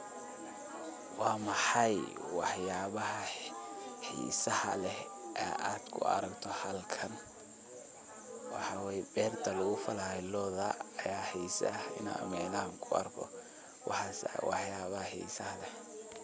Wa maxaay waxyaba xiisaha leh ee aad kuaragto halkan, wa way berta lagufalayo looda aya xisaha micnaha kuarko waxas aya waxyaba xisaha leh.